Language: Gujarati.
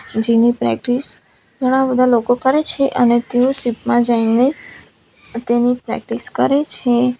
જેની પ્રેક્ટિસ ઘણા બધા લોકો કરે છે અને તેઓ શીપ માં જઈને અહ તેની પ્રેક્ટિસ કરે છે.